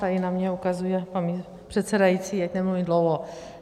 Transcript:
Tady na mě ukazuje pan předsedající, ať nemluvím dlouho.